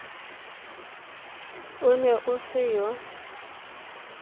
o ne o se yo